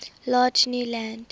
large new land